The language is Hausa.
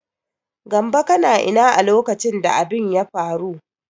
Gambo kana ina a lokacin da abin ya faru?